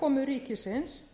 aðkomu ríkisins